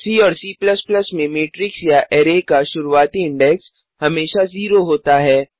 सी और C में matrix या अरै का शुरूवाती इंडेक्स हमेशा 0 होता है